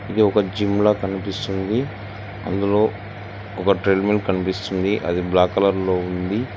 ఇది ఒక జిమ్ లా కనిపిస్తుంది అందులో ఒక ట్రేడ్ మిల్ కనిపిస్తుంది అది బ్లాక్ కలర్ లో ఉంది.